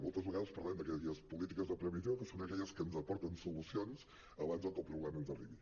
moltes vegades parlem d’aquelles polítiques de previsió que són aquelles que ens aporten solucions abans que el problema ens arribi